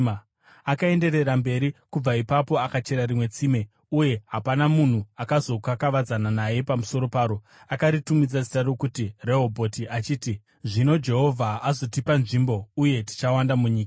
Akaenderera mberi kubva ipapo akachera rimwe tsime, uye hapana munhu akazokakavadzana naye pamusoro paro. Akaritumidza zita rokuti Rehobhoti, achiti, “Zvino Jehovha azotipa nzvimbo uye tichawanda munyika.”